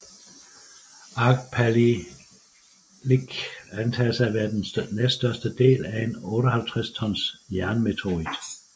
Agpalilik antages at være den næststørste del af en 58 ton jernmeteorit